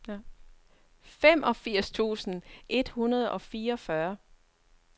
femogfirs tusind et hundrede og fireogfyrre